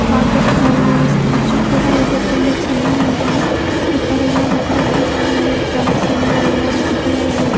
fathers ಅಲ್ಲಿ stage ಕೂಡ ಇದೆ ತುಂಬಾ ಚೆನ್ನಾಗಿ ಇದೆ .ಈಕಡೆ ಎಲ್ಲ ಡೆಕೋರೇಷನ್ ಚೆನ್ನಾಗಿದ ಫ್ಲವರ್ಸ್ ಇಂದ ಎಲ್ಲ ರೆಡ್ ಕಲರ್ ಅಲ್ಲಿ --